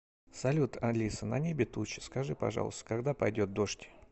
салют алиса на небе тучи скажи пожалуйста когда пойдет дождь